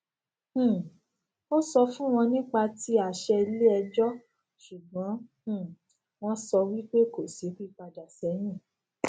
um a sọ fún wọn nípa tí àṣẹ iléẹjọ ṣùgbọn um wọn sọ wípé kò sí pípadà sẹyìn